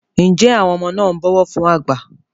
njé àwọn ọmọ na ń bó ọwọ fún àgbà?